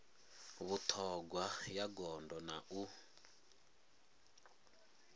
vhuṱhogwa ya gondo na u